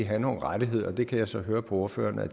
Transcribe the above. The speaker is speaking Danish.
have nogle rettigheder og det kan jeg så høre på ordføreren at